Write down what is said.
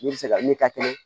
Ne bɛ se ka ne ta kɛnɛ